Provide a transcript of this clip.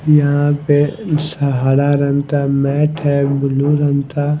यहां पे हरा रंग था मैट है ब्लू रंग था।